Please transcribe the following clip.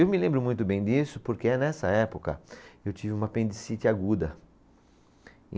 Eu me lembro muito bem disso porque é nessa época que eu tive uma apendicite aguda.